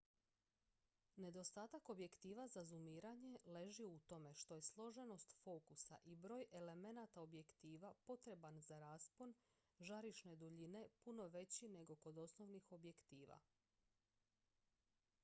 nedostatak objektiva za zumiranje leži u tome što je složenost fokusa i broj elemenata objektiva potreban za raspon žarišne duljine puno veći nego kod osnovnih objektiva